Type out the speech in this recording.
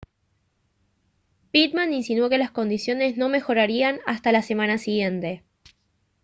pitman insinuó que las condiciones no mejorarían hasta la semana siguiente